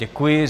Děkuji.